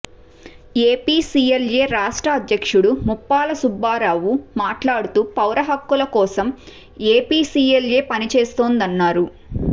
APCLA రాష్ట్ర అధ్యక్షుడు ముప్పాల సుబ్బారావు మాట్లాడుతూ పౌర హక్కుల కో సం ఏపీసీఎల్ఏ పనిచేస్తోందన్నారు